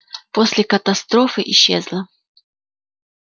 после катастрофы исчезла